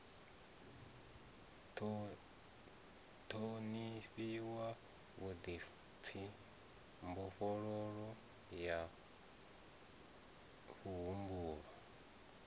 ṱhonifhiwa vhuḓipfi mbofholowo ya muhumbulo